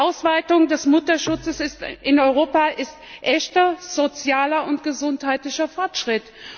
Die Ausweitung des Mutterschutzes in Europa ist echter sozialer und gesundheitlicher Fortschritt.